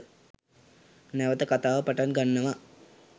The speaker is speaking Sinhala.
නැවත කතාව පටන් ගන්නවා